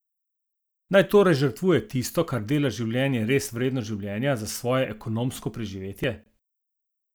Naj torej žrtvuje tisto, kar dela življenje zares vredno življenja, za svoje ekonomsko preživetje?